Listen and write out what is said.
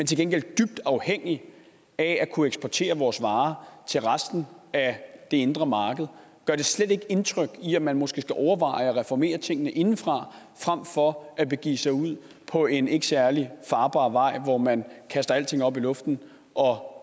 til gengæld er dybt afhængigt af at kunne eksportere vores varer til resten af det indre marked gør det slet ikke indtryk i forhold til at man måske skal overveje at reformere tingene indefra frem for at begive sig ud på en ikke særlig farbar vej hvor man kaster alting op i luften og